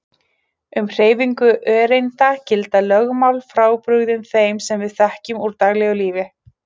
Um hreyfingu öreinda gilda lögmál frábrugðin þeim sem við þekkjum úr daglegu lífi.